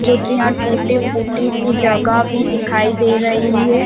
जोकि यहाँ टूटी -फूटी सी जगह भी दिखाई दे रही है।